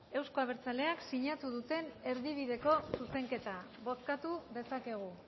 euzko abertzaleak sinatu duten erdibideko zuzenketa bozkatu dezakegu